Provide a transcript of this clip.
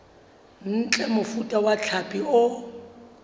ntle mofuta wa hlapi o